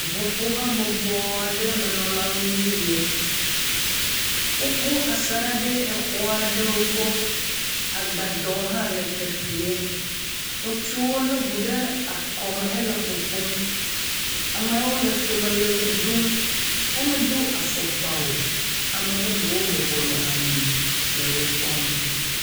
Ŋuƒohabɔbɔ aɖe menɔlawoe nye yio. Woƒu asaɖa ɖe exɔ aɖewo gbɔ. Agbadɔ hã le teƒea. Ŋutsuwo le ŋu ɖe akɔme hele ƒoƒom. Amewo le tome le ʋe ɖum. Womedo afɔkpa o. ame bubuwo bɔbɔnɔ anyi le wo kpɔm.